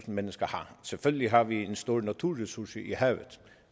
mennesker har selvfølgelig har vi en stor naturressource i havet